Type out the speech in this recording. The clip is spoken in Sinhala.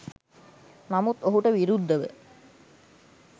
නමුත් ඔහුට විරුද්ධව